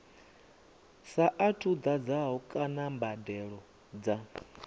saathu ḓadzwaho kana mbadelo dza